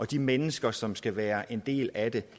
de mennesker som skal være en del af det